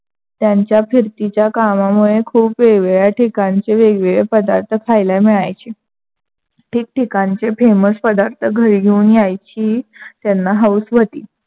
त्यांच्या फिरतीच्या कामामुळे खूप वेगळ्या वेगळ्या ठिकाणचे वेगळे वेगळे पदार्थ खायला मिळायचे. ठीक ठिकाणचे famous पदार्थ घरी घेऊन यायची त्यांना हौस व्‍हती.